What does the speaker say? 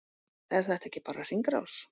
Er þetta ekki bara hringrás?